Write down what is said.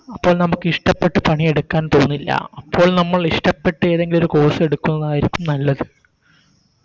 അപ്പോ നമുക്ക് ഇഷ്ട്ടപ്പെട്ട് പണിയെടുക്കാൻ തോന്നില്ല അപ്പോൾ നമ്മൾ ഇഷ്ടപ്പെട്ട് ഏതെങ്കിലൊരു Course എടുക്കുന്നതായിരിക്കും നല്ലത്